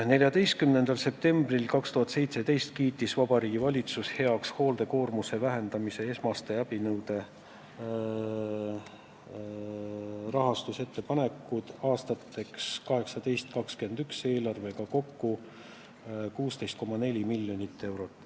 14. septembril 2017 kiitis Vabariigi Valitsus heaks hoolduskoormuse vähendamise esmaste abinõude rahastamise ettepanekud aastateks 2018–2021, see eelarve on kokku 16,4 miljonit eurot.